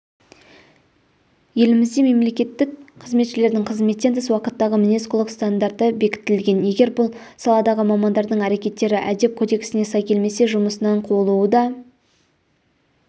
елімізде мемлекеттік қызметшілердің қызметтен тыс уақыттағы мінез-құлық стандарты бекітілген егер бұл саладағы мамандардың әрекеттері әдеп кодексіне сай келмесе жұмысынан қуылуы да